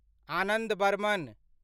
Anand Burman